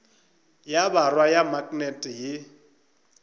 ya borwa ya maknete ye